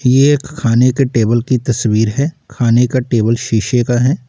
ये एक खाने के टेबल की तस्वीर है खाने का टेबल शीशे का है।